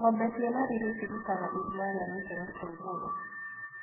Ngombe cina riri cirutaga iria ria gĩkĩro kia igũrũ.